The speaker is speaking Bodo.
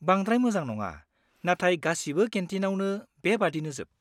बांद्राय मोजां नङा, नाथाय गासिबो केन्टिनावनो बेबादिनोजोब।